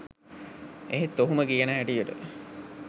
එහෙත් ඔහුම කියන හැටියට